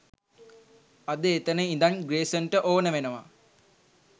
අද එතන ඉදන් ග්‍රේසන්ට ඕන වෙනවා